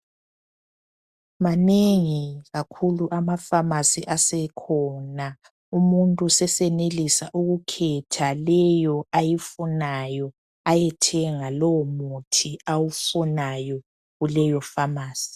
Manengi kakhulu amapharmacy asekhona umuntu sesenelisa ulukhetha leyo ayifunayo ayothenga lowo muthi awufunayo kuleyo pharmacy .